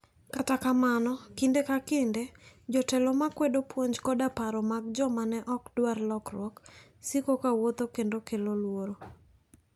Kata kamano, kinde ka kinde, jotelo ma kwedo puonj koda paro mag joma ne ok dwar lokruok, siko ka wuotho kendo kelo luoro. '